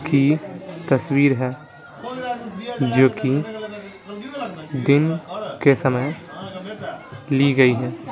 की तस्वीर है जो कि दिन के समय ली गई है।